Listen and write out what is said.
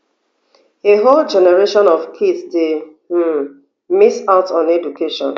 a whole generation of kids dey um miss out on education